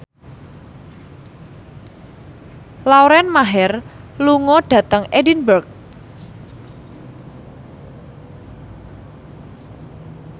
Lauren Maher lunga dhateng Edinburgh